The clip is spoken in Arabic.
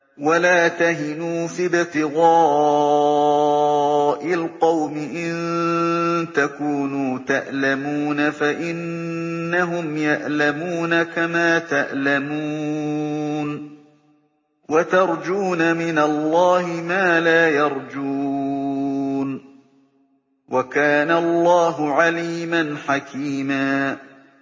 وَلَا تَهِنُوا فِي ابْتِغَاءِ الْقَوْمِ ۖ إِن تَكُونُوا تَأْلَمُونَ فَإِنَّهُمْ يَأْلَمُونَ كَمَا تَأْلَمُونَ ۖ وَتَرْجُونَ مِنَ اللَّهِ مَا لَا يَرْجُونَ ۗ وَكَانَ اللَّهُ عَلِيمًا حَكِيمًا